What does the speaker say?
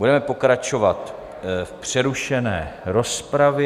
Budeme pokračovat v přerušené rozpravě.